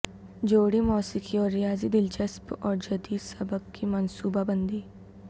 جوڑی موسیقی اور ریاضی دلچسپ اور جدید سبق کی منصوبہ بندی